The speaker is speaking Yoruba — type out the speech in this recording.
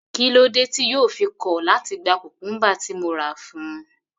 Kílódé tí yóò fi kọ̀ láti gba cucumber tí mo rà fún un.